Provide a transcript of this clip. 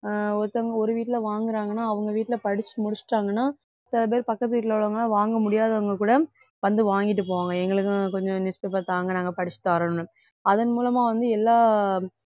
அஹ் ஒருத்தவங்க ஒரு வீட்டிலே வாங்குறாங்கன்னா அவங்க வீட்டிலே படிச்சு முடிச்சுட்டாங்கன்னா சில பேர் பக்கத்து வீட்டிலே உள்ளவங்க வாங்க முடியாதவங்க கூட வந்து வாங்கிட்டு போவாங்க எங்களுக்கும் கொஞ்சம் newspaper தாங்க நாங்க படிச்சிட்டு தர்றோம்னு அதன் மூலமா வந்து எல்லா